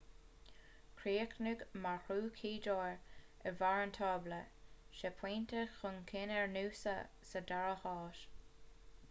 chríochnaigh maroochydore ar bharr an tábla sé phointe chun cinn ar noosa sa dara háit